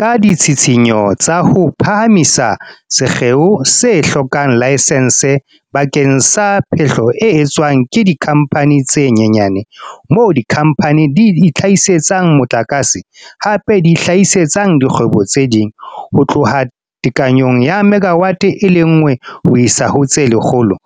Ka ditshitshinyo tsa ho phahamisa sekgeo se hlokang laesense bakeng sa phehlo e etswang ke dikhampani tse nyenyane - moo dikhampani di itlha-hisetsang motlakase, hape di hlahisetsang dikgwebo tse ding - ho tloha tekanyong ya megawate e le nngwe ho isa ho tse lekgolo,